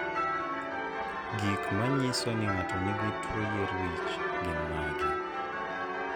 Gik manyiso ni ng'ato nigi tuwo yier wich gin mage?